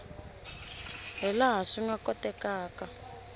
hi laha swi nga kotekaka